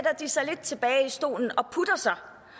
de sig lidt tilbage i stolen og